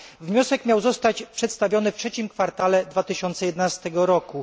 Wniosek miał zostać przedstawiony w trzecim kwartale 2011 roku.